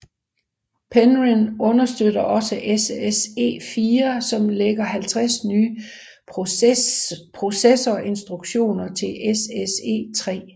Penryn understøtter også SSE4 som lægger 50 nye processorinstruktioner til SSE3